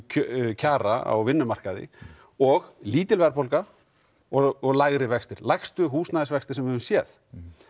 kjara á vinnumarkaði og lítil verðbólga og lægri vextir lægstu húsnæðisvextir sem við höfum séð